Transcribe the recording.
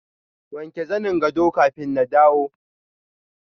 wanke zanin gado kafin na dawo.